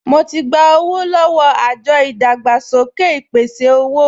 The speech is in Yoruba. Mo ti gba owó lọ́wọ́ àjọ ìdàgbàsókè ìpèsè-owó